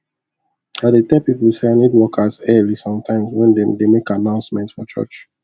i dey tell pipo say i need workers early sometimes when dem dey make announcement for church